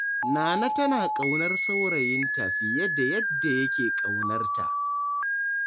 Nana tana ƙaunar saurayinta fiye da yadda yake ƙaunar ta.